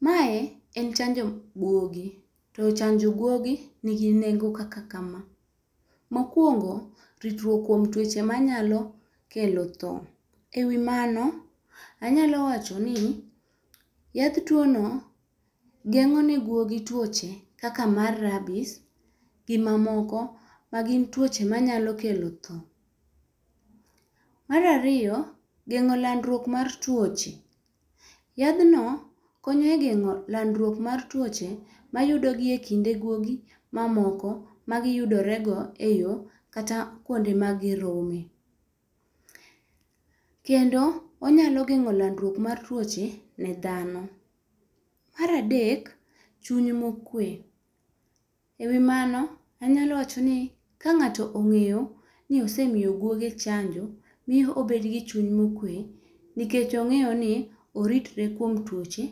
Mae en chanjo gwogi, to chanjo gwogi ni gi nengo kaka kama. mokuongo, ritruok kuom twoche ma nyalo kelo thoo. E wi mano anyalo wacho ni, yath twono geng'o ne gwogi twoche kaka mar rabis gi ma moko ma gin twoche ma nyalo kelo thoo. Mar ariyo, geng'o landruok mar twoche. Yadh no konyo e geng'o landruok mar twoche ma yudo gi e kinde gwogi ma moko ma gi yudore go e yo kata kuonde ma gi rome. Kendo onyalo geng'o landruok mar twoche ne dhano. Mar adek, chuny ma okwe, e wi mano anyalo wacho ni ka ng'ato ong'e ni osemiyo gwoge chanjo miyo ibedo gi chuny ,mo okwe nikech ong'eyo ni oritre kuom twoche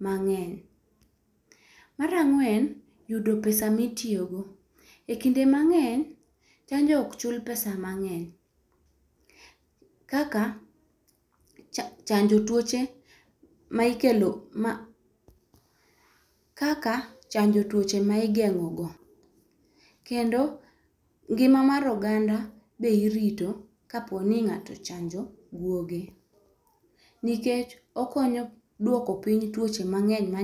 mang'eny. Mar ang'wen, yudo pesa mi itiyo go, e kinde mang'eny chanjo ok chul pesa mang'eny kaka, chanjo twoche ma igeng'o go kendo ngima mar oganda be irito ka po ni ng'ato ochanjo gwoge. Nikech okonyo dwoko piny twoche mang'eny ma nyalo.